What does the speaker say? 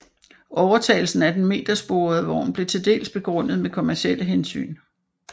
Overtagelsen af den metersporede vogn blev til dels begrundet med kommercielle hensyn